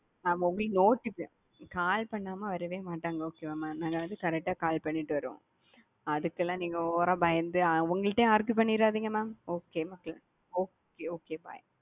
mam உங்களுக்கு notification call பண்ணாம வரவே மாட்டாங் okay வா மா. அதாது correct டா கால் பண்ணிட்டு வருவோம் அதுக்கெல்லாம் நீங்க over அ பயந்து அவங்கள்டையும் argue பண்ணிராதீங்க mam okay okay okay bye.